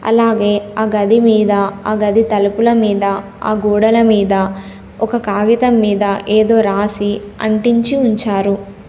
అలాగే ఆ గది మీద ఆ గది తలుపుల మీద ఆ గోడల మీద ఒక కాగితం మీద ఏదో రాసి అంటించి ఉంచారు.